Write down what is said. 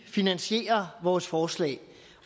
finansiere vores forslag